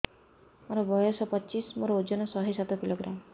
ମୋର ବୟସ ପଚିଶି ମୋର ଓଜନ ଶହେ ସାତ କିଲୋଗ୍ରାମ